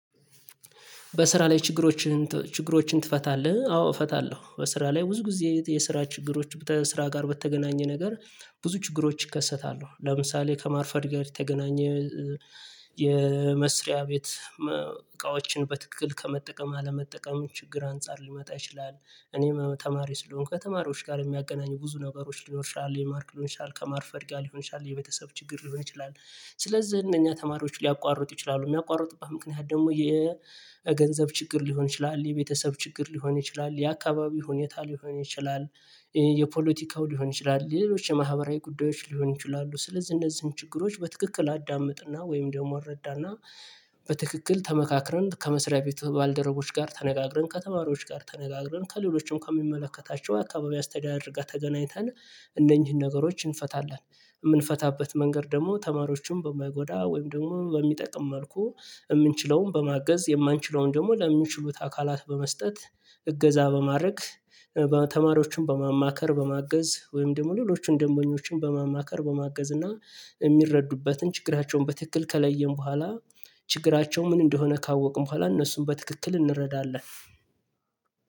በስራ ላይ ችግሮችህን ችግሮችን ትፈታለህ አዎ? እፈታለሁ በስራ ላይ ብዙ ጊዜ የስራ ችግሮች በስራ ጋር በተገናኘ ነገር ብዙ ችግሮች ይከሰታሉ ለምሳሌ ከማርፈድ ጋር የተገናኘ የመስሪያ ቤት እቃዎችን በትክክል ከመጠቀም አለመጠቀም ችግር አንፃር ሊመጣ ይችላል እኔም ተማሪ ስለሆንኩ ከተማሪዎች ጋር የሚያገናኙ ብዙ ነገሮች ሊኖር ይችላል የማርክ ሊኖር ይችላል ከማርፈርድ ጋር ሊሆን ይችላል የቤተሰብ ችግር ሊሆን ይችላል ስለዚህ እነኛ ተማሪዎች ሊያቋርጡ ይችላሉ የሚያቋርጡበት ምክንያት ደግሞ የገንዘብ ችግር ሊሆን ይችላል የቤተሰብ ችግር ሊሆን ይችላል የአካባቢ ሁኔታ ሊሆን ይችላል የፖለቲካው ሊሆን ይችላል ሌሎች የማህበራዊ ጉዳዮች ሊሆን ይችላሉ ስለዚህ እነዚህን ችግሮች በትክክል አዳምጥና ወይም ደግሞ አልረዳና በትክክል ተመካክረን ከመስሪያ ቤት ባልደረቦች ጋር ተነጋግረን ከተማሪዎች ጋር ተነጋግረን ከሌሎችም ከሚመለከታቸው አካባቢ አስተዳደርጋ ተገናኝተን እነኚህን ነገሮችን እንፈታለን የምንፈታበት መንገድ ደግሞ ተማሪዎችን በማይጎዳ ወይም ደግሞ በሚጠቅም መልኩ የምንችለውን በማገዝ የማንችለውን ደግሞ ለሚችሉት አካላት በመስጠት እገዛ በማድረግ ተማሪዎችን በማማከር በማገዝ ወይም ደግሞ ሌሎችን ደግሞ ኞችን በማማከር በማገዝ እና የሚረዱበትን ችግራቸውን በትክክል ከለየን በኋላ ችግራቸው ምን እንደሆነ ካወቅን በኋላ እነሱን በትክክል እንረዳለን